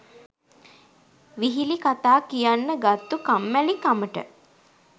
විහිළි කතා කියන්න ගත්තලු කම්මැලි කමට.